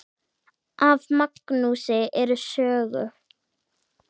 Af Magnúsi eru sögur